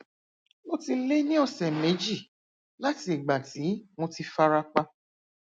ó ti lé ní ọsẹ méjì láti ìgbà tí mo ti fara pa